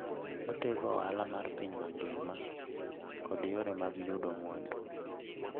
Otego ohala mar piny mangima kod yore mag yudo mwandu.